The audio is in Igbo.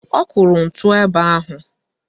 Ọ kụrụ ntu ebe ahụ